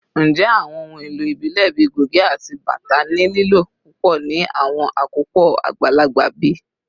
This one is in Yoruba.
Njẹ awọn ohun elo ibile bii goge ati bata ni lilo pupọ ni awọn akopọ agbalagba bi?